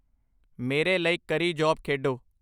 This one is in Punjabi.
ਮੇਰੇ ਲਈ ਕਰੀ ਜੌਬ ਖੇਡੋ